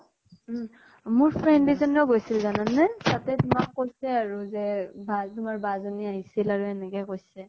উম । মোৰ friend এজনী ও গৈছিল জানা নে । তাতে তোমাক কৈছে আৰু, যে তোমাৰ, তোমাৰ বা জনী আহিছিল আৰু এনেকে কৈছে ।